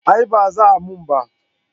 A'a ba za a mun ba